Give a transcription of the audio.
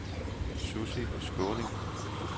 Susie Skaaning